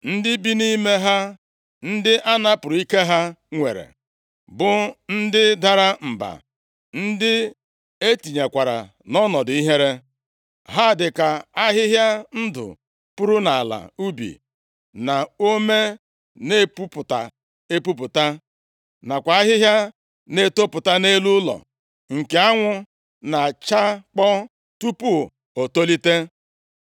Ndị bi nʼime ha, ndị a napụrụ ike ha nwere bụ ndị dara mba, ndị e tinyekwara nʼọnọdụ ihere. Ha dịka ahịhịa ndụ puru nʼala ubi na ome na-epupụta epupụta nakwa ahịhịa na-etopụta nʼelu ụlọ nke anwụ na-achakpọ tupu o tolite.